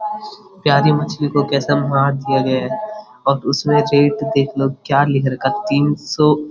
प्यारी मच्छी को कैसे मार दिया गया है और उसमें देख लो क्या लिख रखा है तीन सौ --